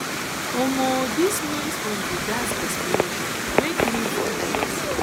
um dis noise from di gas from di gas explosion wake me for night